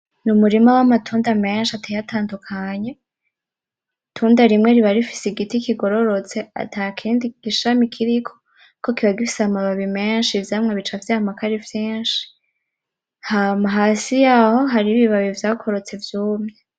Ni umurima w'amatunda menshi ateye atandukanye itunda rimwe riba rifise igiti kigororotse atakindi ishami kiriko kuko kiba gifise amababi menshi ivyamwa bica vyamako ari vyinshi ,hama hasi yaho hariho ibibabi vyakorotse vyumye.